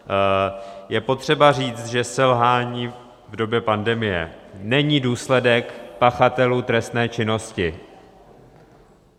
Je potřeba říct, že selhání v době pandemie není důsledek pachatelů trestné činnosti.